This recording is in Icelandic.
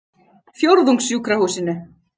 Fjórðungssjúkrahúsinu